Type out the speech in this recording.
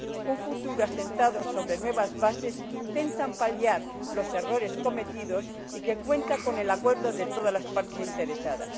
un futuro asentado sobre nuevas bases que intentan paliar los errores cometidos y que cuentan con el acuerdo de todas las partes interesadas.